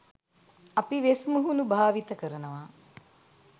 අපි වෙස් මුහුණු භාවිත කරනවා